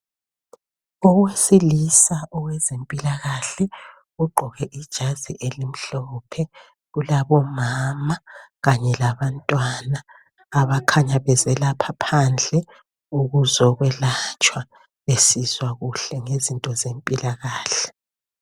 Owesilisa owezempilkahle ogqoke ijazi elimhlophe. Kulabomama kanye labantwana abakhanya bezelapha phandle ukuzokwelatshwa besizwa kuhle ngezinto zempilakahle.